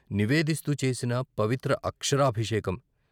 నివేదిస్తూ చేసిన పవిత్ర అక్షరాభిషేకం.